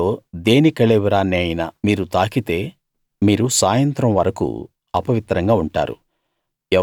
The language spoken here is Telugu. వీటిలో దేని కళేబరాన్ని అయినా మీరు తాకితే మీరు సాయంత్రం వరకూ అపవిత్రంగా ఉంటారు